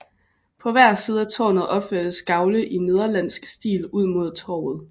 På hver side af tårnet opførtes gavle i nederlandsk stil ud mod torvet